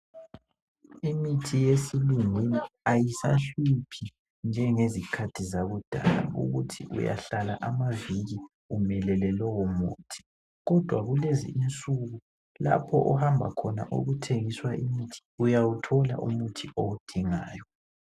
Imithi yesilungwini ayisahluphi njengezikhathi zakudala ukuthi uyahlala amaviki umelele lowo muthi kodwa kulezi insuku lapho ohambayo khona okuthengiswa imithi uyawuthola umuthi owudingayo.